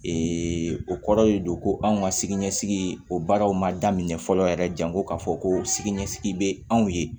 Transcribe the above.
o kɔrɔ de don ko anw ka siniɲɛsigi o baaraw ma daminɛ fɔlɔ yɛrɛ janko ka fɔ ko sini ɲɛsigi bɛ anw ye